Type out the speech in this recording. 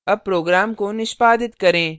अब program को निष्पादित करें